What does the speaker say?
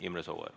Imre Sooäär.